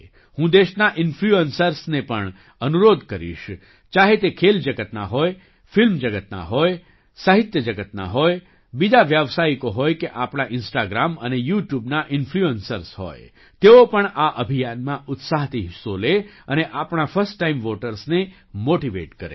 હું દેશના ઇન્ફ્લુઅન્સર્સને પણ અનુરોધ કરીશ ચાહે તે ખેલ જગતના હોય ફિલ્મ જગતના હોય સાહિત્ય જગતના હોય બીજા વ્યાવસાયિકો હોય કે આપણા ઇન્સ્ટાગ્રામ અને યૂટ્યૂબના ઇન્ફ્લુઅન્સર્સ હોય તેઓ પણ આ અભિયાનમાં ઉત્સાહથી હિસ્સો લે અને આપણા ફર્સ્ટ ટાઇમ વૉટર્સને મૉટિવેટ કરે